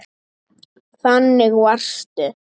Þannig varstu.